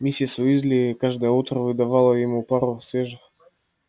миссис уизли каждое утро выдавала ему пару свежих